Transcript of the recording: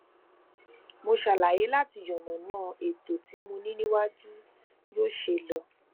mo ṣàlàyé láti yànnàná ètò tí mo ní níwájú yóò ṣe lọ